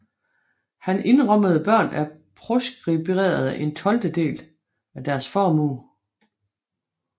Han indrømmede børn af proskriberede en tolvtedel af deres formue